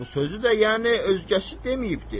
Bu sözü də yəni özgəsi deməyibdir.